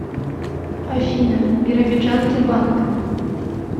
афина биробиджан тербанк